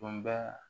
Kumaba